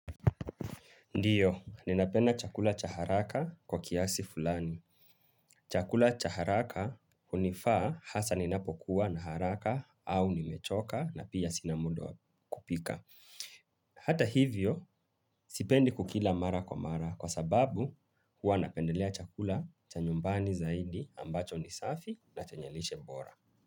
Ndiyo, ninapenda chakula cha haraka kwa kiasi fulani. Chakula cha haraka hunifaa hasa ninapokuwa na haraka au nimechoka na pia sina muda kupika. Hata hivyo, sipendi kukila mara kwa mara kwa sababu huwa napendelea chakula cha nyumbani zaidi ambacho ni safi na chenye lishe mbora.